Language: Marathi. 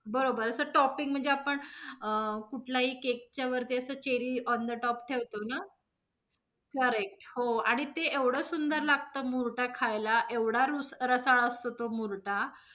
बरोबर. अस topping म्हणजे आपण अ~ कुठलाही cake च्या वरती अस cherry on the top ठेवतो ना correct हो. आणि ते एवढं सुंदर लागतो मुर्टा खायला एवढं रुस् रसाळ असतो तो मुर्टा.